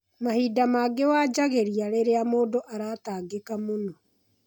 Mahinda mangĩ wanjangĩrĩa rĩrĩa mũndũ aratangĩka mũno.